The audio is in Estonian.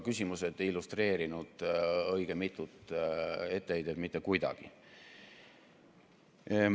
Õige mitut etteheidet ei olnud mitte kuidagi illustreeritud.